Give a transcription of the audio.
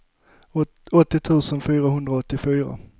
åttio tusen fyrahundraåttiofyra